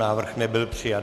Návrh nebyl přijat.